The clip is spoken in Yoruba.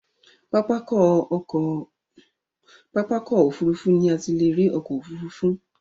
Pápákọ̀ òfurufú ni a ti lè rí ọkọ̀ òfurufú.